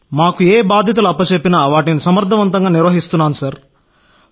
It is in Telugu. మాకు ఏ బాధ్యతలు చెప్పినా వాటిని సమర్థవంతంగా నిర్వహిస్తున్నాం సార్